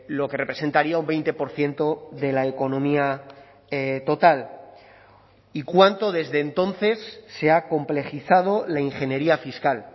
lo que representaría un veinte por ciento de la economía total y cuánto desde entonces se ha complejizado la ingeniería fiscal